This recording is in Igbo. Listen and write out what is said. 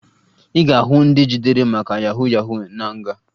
Ị ga-ahụ ndị ejidere maka yahu yahu na nga